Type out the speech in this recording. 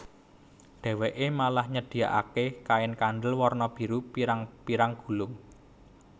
Dheweke malah nyedhiakake kain kandel warna biru pirang pirang gulung